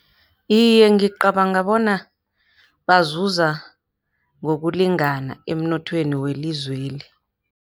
Iye, ngicabanga bona bazuza ngokulingana emnothweni welizweli.